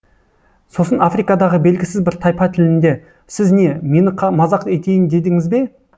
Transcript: сосын африкадағы белгісіз бір тайпа тілінде сіз не мені мазақ етейін дедіңіз бе